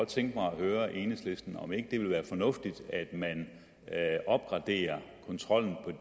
tænke mig at høre enhedslisten om ikke det vil være fornuftigt at man opgraderer kontrollen